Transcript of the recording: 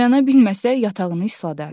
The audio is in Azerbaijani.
Oyana bilməsə yatağını isladar.